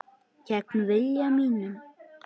Gegn vilja mínum.